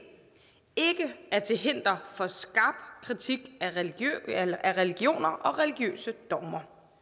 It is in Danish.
er til hinder for skarp kritik af religioner og religiøse dogmer